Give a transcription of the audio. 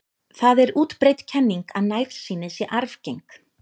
Það er útbreidd kenning að nærsýni sé arfgeng.